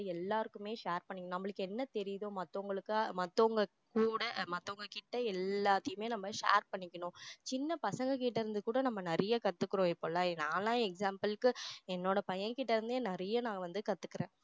எல்லாருக்குமே share பண்ணிக்கணும் நம்மளுக்கு என்ன தெரியுதோ மத்தவங்களுக்கு மத்தவங்களுக்கு கூட மத்தவங்கக்கிட்ட எல்லாத்தையுமே நம்ம share பண்ணிக்கணும் சின்ன பசங்ககிட்ட இருந்து கூட நம்ம நிறைய கத்துக்குறோம் இப்போல்லாம் நான் எல்லாம் example க்கு என்னோட பையன்கிட்ட இருந்தே நிறைய நான் வந்து கத்துக்குறேன்